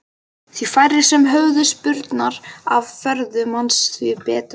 Því færri sem höfðu spurnir af ferðum hans því betra.